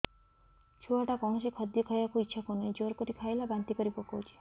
ଛୁଆ ଟା କୌଣସି ଖଦୀୟ ଖାଇବାକୁ ଈଛା କରୁନାହିଁ ଜୋର କରି ଖାଇଲା ବାନ୍ତି କରି ପକଉଛି